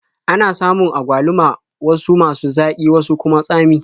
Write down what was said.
Ana samun agwaluma wasu masu zaƙi wasu kuma tsami.